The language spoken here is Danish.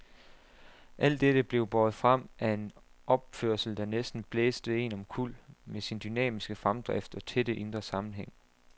Alt dette blev båret frem af en opførelse der næsten blæste en omkuld med sin dynamiske fremdrift og tætte indre sammenhæng.